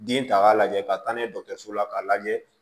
Den ta k'a lajɛ ka taa n'a ye dɔgɔtɔrɔso la k'a lajɛ